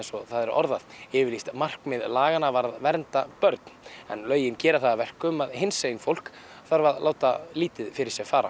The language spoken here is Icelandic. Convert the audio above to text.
og það er orðað yfirlýst markmið laganna var að vernda börn en lögin gera það að verkum að hinsegin fólk þarf að láta lítið fyrir sér fara